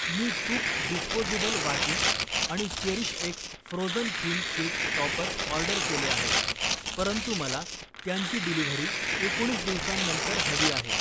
मी चुक डिस्पोझेबल वाटी आणि CherishX frozen theme cake topper order केले आहेत, परंतु मला त्यांची डिलिव्हरी एकोणीस दिवसांनंतर हवी आहे.